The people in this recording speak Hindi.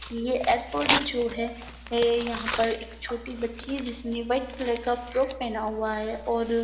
ये एयरपोर्ट जो है ए यहाँ पर एक छोटी बच्ची है जिसने व्हाइट कलर का फ्रॉक पहना हुआ है और --